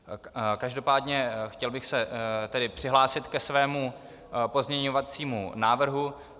Každopádně, chtěl bych se tedy přihlásit ke svému pozměňovacímu návrhu.